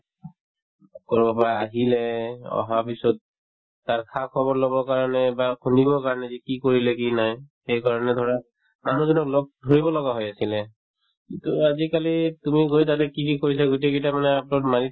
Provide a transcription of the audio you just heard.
কৰবাৰ আহিলে অহাৰ পিছত তাৰ খা-খবৰ লবৰ কাৰণে বা শুনিবৰ কাৰণে যে কি কৰিলে কি নাই সেই কাৰণে ধৰা মানুহ জনক লগ ধৰিব লগা হৈ আছিলে কিন্তু আজিকালি তুমি গৈ তাতে কি কি কৰিছা গোটেই কেইটা মানে upload মাৰি